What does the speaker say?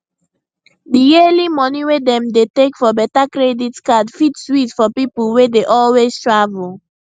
di yearly money wey dem dey take for better credit card fit sweet for people wey dey always travel